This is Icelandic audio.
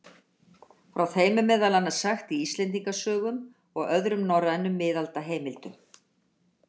Frá þeim er meðal annars sagt í Íslendingasögum og öðrum norrænum miðaldaheimildum.